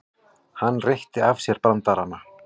Hann reytti af sér brandarana.